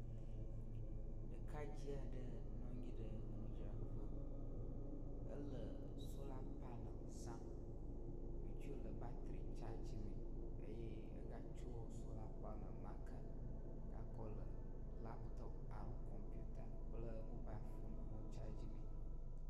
Ɖekadze aɖe nɔ anyi ɖe enudzraƒe ele sola panel zam. Wotsɔe le batri tsadzi mee eye ega tsɔ sola panel ma ke gakɔ le laptɔp alo kɔmputa kple mobal foni hã tsadzi mee.